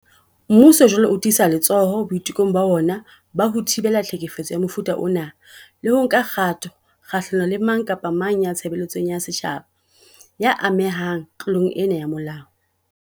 Mmuso jwale o tiisa letsoho boitekong ba ona ba ho thibela tlhekefetso ya mofuta ona le ho nka kgato kgahlano le mang kapa mang ya tshebeletsong ya setjhaba ya amehang tlo long ena ya molao.